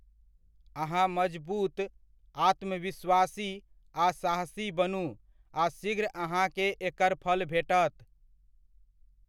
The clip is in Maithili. अहाँ मजबूत, आत्मविश्वासी आ साहसी बनू आ शीघ्र अहाँकेँ एकर फल भेटत।